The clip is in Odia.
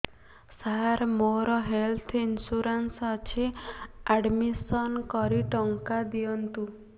ସାର ମୋର ହେଲ୍ଥ ଇନ୍ସୁରେନ୍ସ ଅଛି ଆଡ୍ମିଶନ କରି ଟଙ୍କା ଦିଅନ୍ତୁ